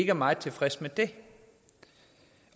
er meget tilfredse med det